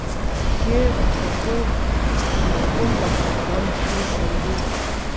Kje, kako in s kom pa boste danes plesali vi?